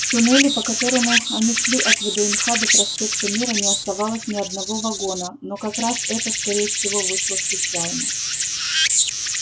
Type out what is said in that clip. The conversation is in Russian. в туннеле по которому они шли от вднх до проспекта мира не оставалось ни одного вагона но как раз это скорее всего вышло случайно